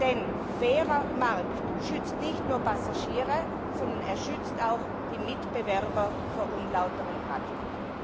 Denn ein fairer Markt schützt nicht nur Passagiere, sondern er schützt auch die Mitbewerber vor unlauteren Praktiken.